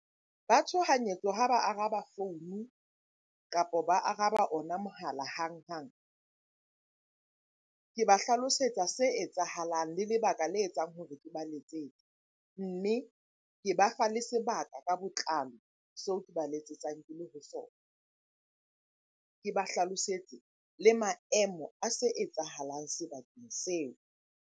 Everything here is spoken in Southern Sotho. Ba tshohanyetso ha ba araba founu, kapa ba araba ona mohala hang-hang. Ke ba hlalosetsa se etsahalang le lebaka le etsang hore ke ba letsetse. Mme ke ba fa le sebaka ka botlalo seo ke ba letsetsang ke le ho sona. Ke ba hlalosetse le maemo a se etsahalang sebakeng seo.